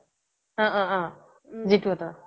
অ' অ' অ' জিতু হঁতৰ